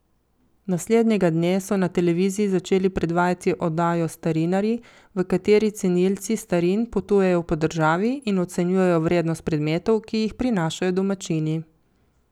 Naslednjega dne so na televiziji začeli predvajati oddajo Starinarji, v kateri cenilci starin potujejo po državi in ocenjujejo vrednost predmetov, ki jih prinašajo domačini.